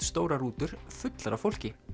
stór rúta full af fólki